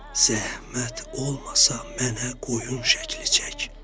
Zəhmət olmasa mənə qoyun şəkli çək.